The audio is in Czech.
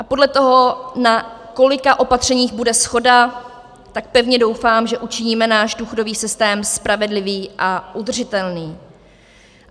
A podle toho, na kolika opatřeních bude shoda, tak pevně doufám, že učiníme náš důchodový systém spravedlivý a udržitelný.